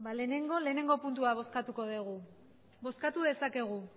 lehenengo batgarrena puntua bozkatuko dugu bozkatu dezakegu